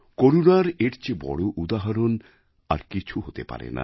করুণার এর চেয়ে বড় উদাহরণ আর কিছু হতে পারে না